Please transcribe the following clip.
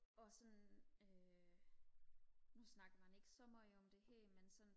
og sådan øh nu snakker man ikke så meget om det her men sådan